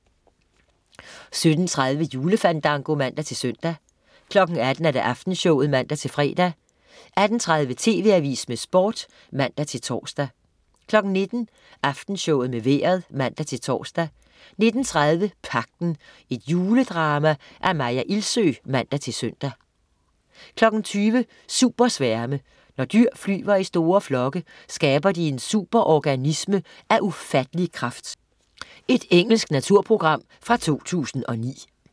17.30 Julefandango (man-søn) 18.00 Aftenshowet (man-fre) 18.30 TV Avisen med Sport (man-tors) 19.00 Aftenshowet med Vejret (man-tors) 19.30 Pagten. Et juledrama af Maya Ilsøe (man-søn) 20.00 Supersværme. Når dyr flyver i store flokke, skaber de en superorganisme af ufattelig kraft. Engelsk naturprogram fra 2009